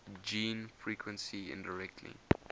gene frequency indirectly